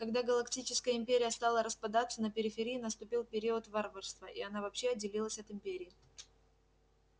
когда галактическая империя стала распадаться на периферии наступил период варварства и она вообще отделилась от империи